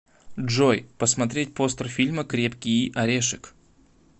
джой посмотреть постер фильма крепкии орешек